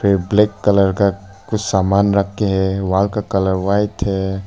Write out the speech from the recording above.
Black colour का कुछ सामान रख के है वहां का कलर व्हाइट है।